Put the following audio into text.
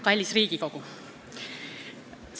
Kallis Riigikogu!